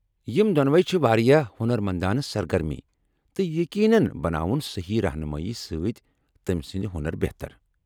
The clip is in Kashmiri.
یم دۄنوے چھ واریاہ ہۄنرمندانہٕ سرگرمی، تہٕ یقینن بناون صحیح رہنمٲیی سۭتۍ تمہِ سٕندۍ ہۄنر بہتر ۔